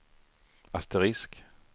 asterisk